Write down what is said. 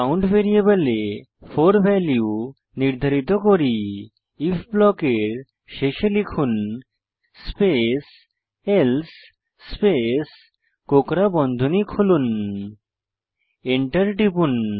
count ভ্যারিয়েবলে 4 value নির্ধারিত করি আইএফ ব্লকের শেষে লিখুন স্পেস এলসে স্পেস কোঁকড়া বন্ধনী খুলুন এন্টার টিপুন